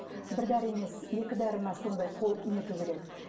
бір дәрі емес екі дәрі ме сондай нету керек